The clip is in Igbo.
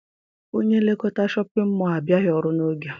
Onye nlekọta Shọpịn mọọ a abịaghị ọrụ n'oge.